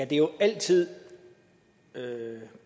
det er jo altid